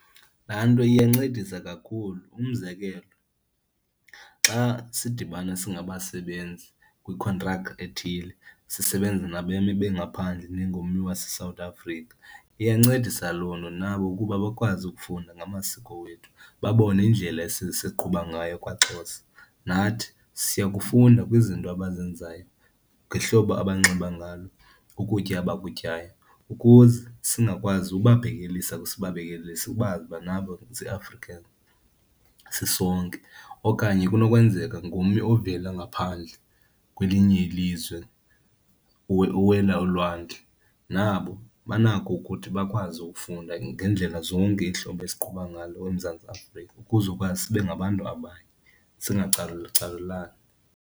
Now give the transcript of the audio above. Laa nto iyancedisa kakhulu. Umzekelo xa sidibana singabasebenzi kwikhontrak ethile, sisebenza nabemi bengaphandle njengommi waseSouth Africa, iyancedisa loo nto nabo ukuba bakwazi ukufunda ngamasiko wethu babone indlela esiqhuba ngayo kwaXhosa. Nathi siya kufunda kwizinto abazenzayo, ngehlobo abanxiba ngalo, ukutya abakutyayo ukuze singakwazi ubabhekelisa or sibabekele sibazi ukuba nabo zii-Africans, sisonke. Okanye kunokwenzeka ngummi ovela ngaphandle kwelinye ilizwe, uwela ulwandle, nabo banako ukuthi bakwazi ukufunda ngeendlela zonke iintlobo esiqhuba ngalo eMzantsi Afrika ukuzokwazi sibe ngabantu abanye singacalucalulani.